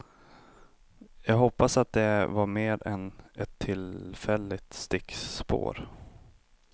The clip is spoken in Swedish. Jag hoppas att det var mer än ett tillfälligt stickspår.